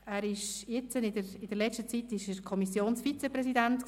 In letzter Zeit war er Kommissionsvizepräsident